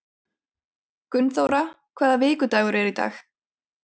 Gunnþóra, hvaða vikudagur er í dag?